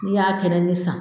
N'i y'a kɛnɛ san